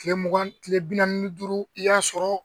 Tile mugan tile bi naani ni duuru i y'a sɔrɔ